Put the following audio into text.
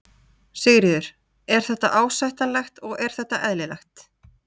Sigríður: Er þetta ásættanlegt og er þetta eðlilegt?